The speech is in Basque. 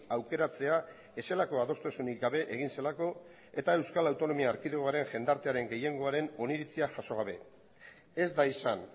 aukeratzea ez zelako adostasunik gabe egin zelako eta euskal autonomia erkidegoaren jendartearen gehiengoaren oniritzia jaso gabe ez da izan